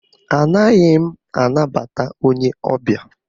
Anaghị m anabata onye ọbịa